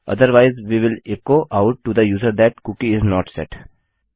otherwise we will echo out to the user that cookie is not set